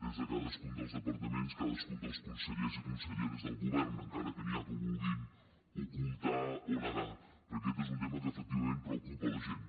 des de cadascun dels departaments cadascun dels consellers i conselleres del govern encara que n’hi ha que ho vulguin ocultar o negar perquè aquest és un tema que efectivament preocupa la gent